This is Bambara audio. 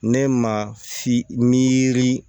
Ne ma fili